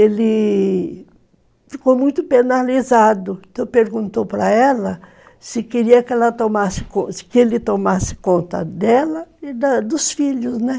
Ele ficou muito penalizado, então perguntou para ela se queria que ela, que ele tomasse conta dela e dos filhos, né?